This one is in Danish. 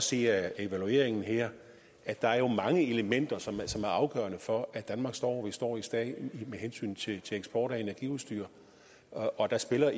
se af evalueringen her at der jo er mange elementer som er afgørende for at vi i står hvor vi står med hensyn til til eksport af energiudstyr og der spiller